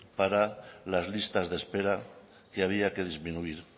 para las listas de espera que había que disminuir